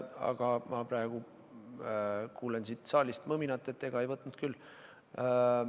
Aga praegu ma kuulen siit saalist mõminat, et ega ei võtnud küll.